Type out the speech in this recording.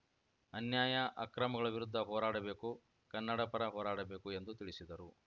ಅನ್ಯಾಯ ಅಕ್ರಮಗಳ ವಿರುದ್ಧ ಹೋರಾಡಬೇಕು ಕನ್ನಡಪರ ಹೋರಾಡಬೇಕು ಎಂದು ತಿಳಿಸಿದರು